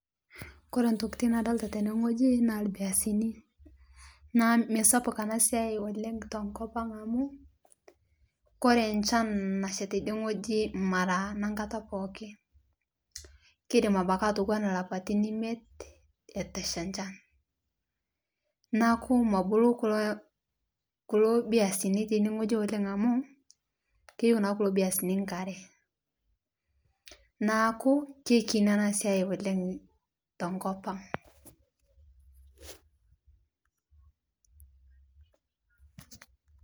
Kore ntokitin nadolita tene ng'oji naa lbiasini naa meisupat ana siai oleng' tenkopang' amu kore nchan nasha teidie ng'oji mara nankata pooki keidim abaki atowana lapatin imiet etii eshaa nchan naaku mobulu kuloo biasini oleng amu keyeu naa kulo biasini nkaree naaku keikini ana siai oleng' tonkopang'.